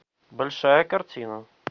большая картина